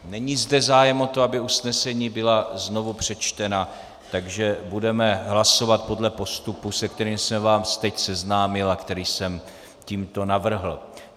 Není zde zájem o to, aby usnesení byla znovu přečtena, takže budeme hlasovat podle postupu, se kterým jsem vás teď seznámil a který jsem tímto navrhl.